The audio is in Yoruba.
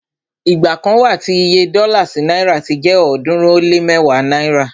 igba kan wa tí Iye dọ́là sí náìrà ti jẹ ọ̀ọ́dúnrún ó lé mẹ́wàá náírà